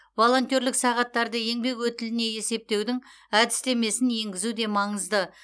волонтерлік сағаттарды еңбек өтіліне есептеудің әдістемесін енгізу де маңызды